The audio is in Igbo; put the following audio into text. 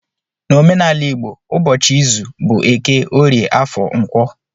N'omenala igbo ụbọchị izu bụ eke, orie, afọ, nkwọ